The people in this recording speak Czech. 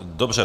Dobře.